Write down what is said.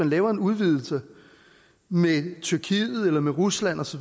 lavet en udvidelse med tyrkiet eller med rusland osv